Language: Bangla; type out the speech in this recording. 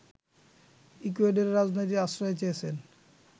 ইকুয়েডরে রাজনৈতিক আশ্রয় চেয়েছেন